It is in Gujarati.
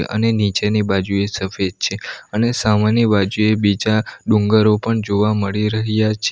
અને નીચેની બાજુએ સફેદ છે અને સામેની બાજુ બીજા ડુંગરો પન જોવા મળી રહ્યા છે --